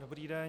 Dobrý den.